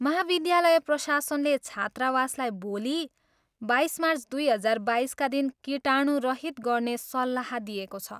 महाविद्यालय प्रशासनले छात्रावासलाई भोलि, बाइस मार्च दुई हजार बाइसका दिन कीटाणुरहित गर्ने सल्लाह दिएको छ।